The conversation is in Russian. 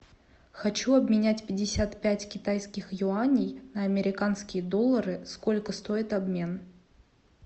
хочу обменять пятьдесят пять китайских юаней на американские доллары сколько стоит обмен